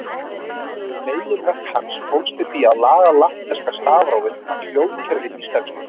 Meginverk hans fólst í því að laga latneska stafrófið að hljóðkerfi íslensku.